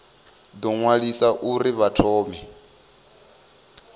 ḓo ṅwaliswa uri vha thome